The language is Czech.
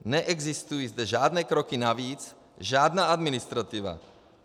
Neexistují zde žádné kroky navíc, žádná administrativa.